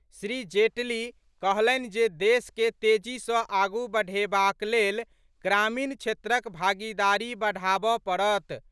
श्री जेटली कहलनि जे देश के तेजी सँ आगु बढ़ेबाक लेल ग्रामीण क्षेत्रक भागीदारी बढ़ाबऽ परत।